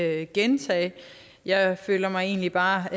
jeg ikke gentage jeg føler mig egentlig bare